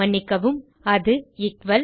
மன்னிக்கவும் அது எக்குவல்